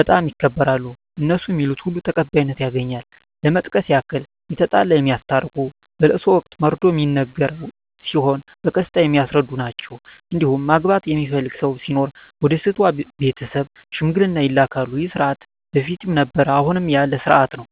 በጣም ይከበራሉ እነሡ ሚሉት ሁሉ ተቀባይነት ያገኛል ለመጥቀስ ያክል የተጣላ የሚያስታርቁ በለቅሶ ወቅት መርዶ ሚነገር ሲሆን በቀስታ የሚያስረዱ ናቸዉ እንዲሁም ማግባት የሚፈልግ ሰው ሲኖር ወደ ሴቷ ቤተሰብ ሽምግልና ይላካሉ ይህ ስርዓት በፊትም ነበረ አሁንም ያለ ስርአት ነው።